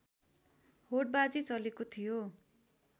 होडबाजी चलेको थियो